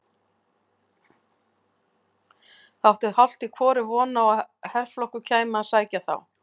Þeir áttu hálft í hvoru von á að herflokkur kæmi að sækja þá.